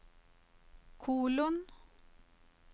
kolon